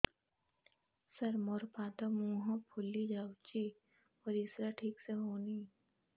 ସାର ମୋରୋ ପାଦ ମୁହଁ ଫୁଲିଯାଉଛି ପରିଶ୍ରା ଠିକ ସେ ହଉନି